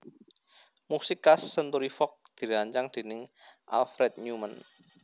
Musik khas Century Fox dirancang déning Alfred Newman